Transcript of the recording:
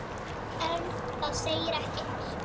En það segir ekki allt.